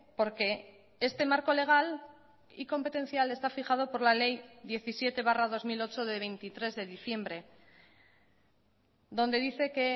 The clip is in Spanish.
porque este marco legal y competencial está fijado por la ley diecisiete barra dos mil ocho de veintitrés de diciembre donde dice que